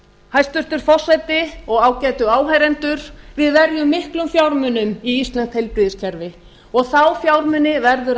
hæstvirtur forseti og ágætu áheyrendur við verjum miklum fjármunum í íslenskt heilbrigðiskerfi og þá fjármuni verður